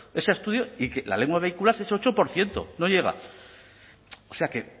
ese estudio y la lengua vehicular es ocho por ciento no llega o sea que